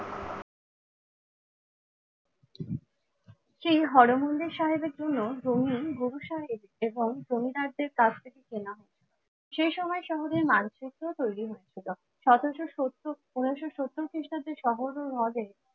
সেই হরমন্দির সাহেবের জন্য রঙিন বরিশাল এবং জমিদারদের কাছ থেকে কেনা হয়। সেই সময় শহরের মানচিত্র তৈরি হয়েছিল সতেরোশো সত্তর পনেরোশো সত্তর খ্রীষ্টাব্দে শহর ও হ্রদের